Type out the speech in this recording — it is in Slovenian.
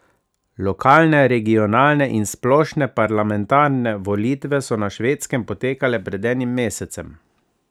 Lokalne, regionalne in splošne parlamentarne volitve so na Švedskem potekale pred enim mesecem.